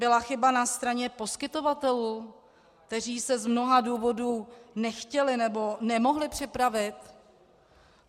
Byla chyba na straně poskytovatelů, kteří se z mnoha důvodů nechtěli nebo nemohli připravit?